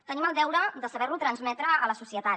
tenim el deure de saber ho transmetre a la societat